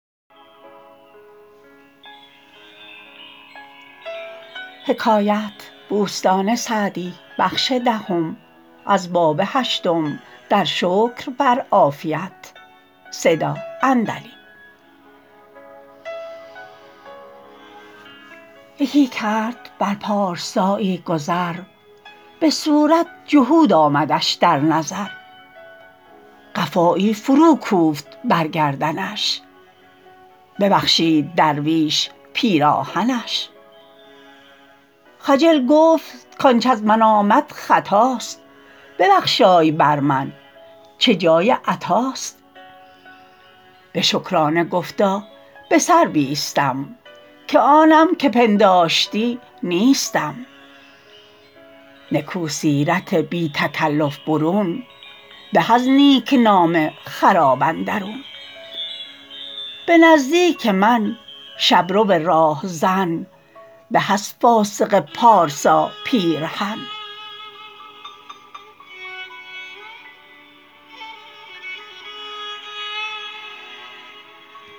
یکی کرد بر پارسایی گذر به صورت جهود آمدش در نظر قفایی فرو کوفت بر گردنش ببخشید درویش پیراهنش خجل گفت کانچ از من آمد خطاست ببخشای بر من چه جای عطاست به شکرانه گفتا به سر بیستم که آنم که پنداشتی نیستم نکو سیرت بی تکلف برون به از نیکنام خراب اندرون به نزدیک من شبرو راهزن به از فاسق پارسا پیرهن